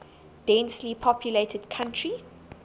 densely populated country